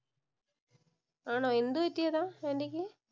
ആണോ, എന്തു പറ്റിയതാ. ആന്‍റിക്ക്?